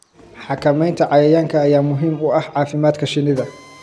Xakamaynta cayayaanka ayaa muhiim u ah caafimaadka shinnida.